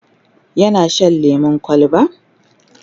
yana Shan lemun kwalba?